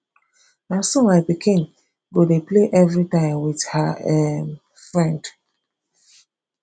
na so my pikin go dey play everytime with her um friend